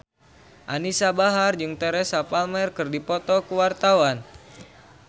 Anisa Bahar jeung Teresa Palmer keur dipoto ku wartawan